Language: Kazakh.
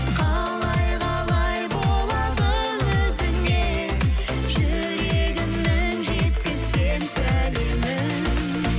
қалай қалай болады өзіңе жүрегімнің жеткізсем сәлемін